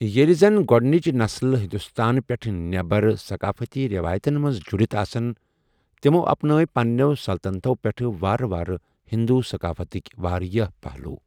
ییٚلہِ زَن گۄدٕنٕچ نسلہٕ ہندوستان پٮ۪ٹھ نٮ۪بر ثقافتی رِوایتن منٛز جُڑتھ آسَن، تِمَو اپنٲے پننٮ۪و سلطنتو پٮ۪ٹھ وارٕ وارٕ ہندو ثقافتٕک واریاہ پہلو ۔